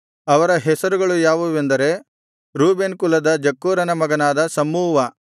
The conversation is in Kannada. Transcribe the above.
ಅವರ ಹೆಸರುಗಳು ಯಾವುವೆಂದರೆ ರೂಬೇನ್ ಕುಲದ ಜಕ್ಕೂರನ ಮಗನಾದ ಶಮ್ಮೂವ